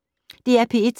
DR P1